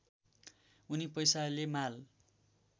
उनी पैसाले माल